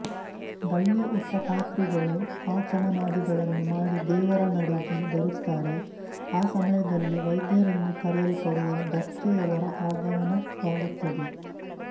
ದಳ್ಯ ಉಟ್ಟ ಪಾತ್ರಿಗಳು ಆಚಮನಾದಿಗಳನ್ನು ಮಾಡಿ ದೇವರ ನಡೆಗೆ ಬರುತ್ತಾರೆ ಆ ಸಮಯದಲ್ಲಿ ವೈದ್ಯರೆಂದು ಕರೆಯಲ್ಪಡುವ ಢಕ್ಕೆಯವರ ಆಗಮನವಾಗುತ್ತದೆ